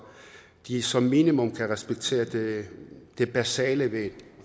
de som minimum kan respektere det det basale ved et